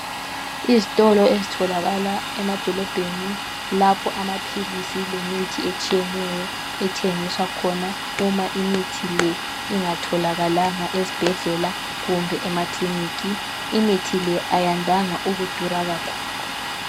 Izitolo ezitholakala emadolobheni lapho amaphilisi lemithi etshiyeneyo ethengiswa khona uma imithi le ingatholakalanga ezibhedlela kumbe ema kliniki . Imithi le ayandanga ukudula kakhulu .